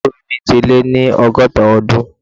Ilé ìwé mi ti lé ní ọgọ́ta Ọdún.